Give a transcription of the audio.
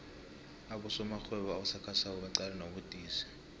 abosomarhwebo abasakhasako baqalene nobudisi